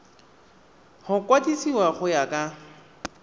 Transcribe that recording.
go kwadisiwa go ya ka